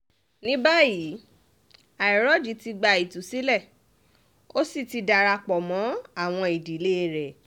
ní báyìí àìrọ́jì ti gba ìtúsílẹ̀ ó sì ti darapọ̀ mọ́ àwọn ìdílé rẹ̀